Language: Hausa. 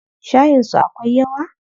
Shayin su akwai yawa?